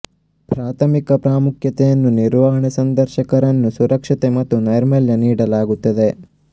ಪ್ರಾಥಮಿಕ ಪ್ರಾಮುಖ್ಯತೆಯನ್ನು ನಿರ್ವಹಣೆ ಸಂದರ್ಶಕರನ್ನು ಸುರಕ್ಷತೆ ಮತ್ತು ನೈರ್ಮಲ್ಯ ನೀಡಲಾಗುತ್ತದೆ